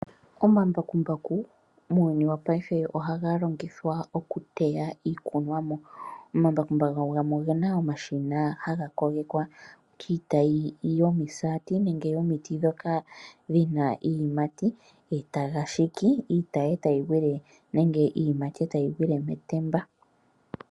Omambakumbaku muuyuni wongaashingeyi ohaga longithwa okuteya iikunwamo. Omambakumbaku gamwe ogena omashina haga kogekwa kiitayi yomisaati nenge yomiti ndhoka dhina iiyimati etaga shiki iitayi iiyimati etayi gwile metemba.